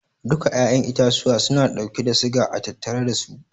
Duka 'ya'yan itatuwa suna dauke da siga a tattare dasu.